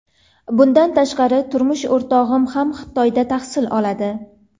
Bundan tashqari, turmush o‘rtog‘im ham Xitoyda tahsil oladi.